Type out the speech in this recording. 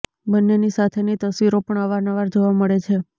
બન્નેની સાથેની તસવીરો પણ અવારનવાર જોવા મળે છે